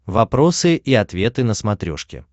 вопросы и ответы на смотрешке